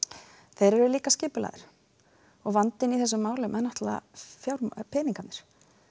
þeir eru líka skipulagðir og vandinn í þessum málum eru peningarnir